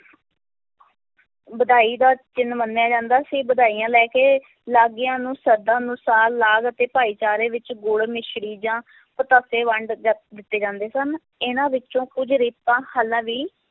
ਵਧਾਈ ਦਾ ਚਿੰਨ੍ਹ ਮੰਨਿਆ ਜਾਂਦਾ ਸੀ, ਵਧਾਈਆਂ ਲੈ ਕੇ ਲਾਗੀਆਂ ਨੂੰ ਸ਼ਰਧਾ ਅਨੁਸਾਰ ਲਾਗ ਅਤੇ ਭਾਈਚਾਰੇ ਵਿੱਚ ਗੁੜ, ਮਿਸਰੀ ਜਾਂ ਪਤਾਸੇ ਵੰਡ ਜਾ~ ਦਿੱਤੇ ਜਾਂਦੇ ਸਨ, ਇਹਨਾਂ ਵਿੱਚੋਂ ਕੁੱਝ ਰੀਤਾਂ ਹਾਲਾਂ ਵੀ